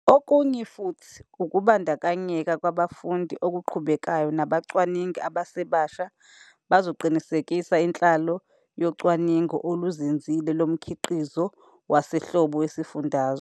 Okunye futhi, ukubandakanyeka kwabafundi okuqhubekayo nabacwaningi abasebasha bazoqinisekisa inhlalo yecwaningo oluzinzile lo mkhiqizo wasehlobo wesifundazwe.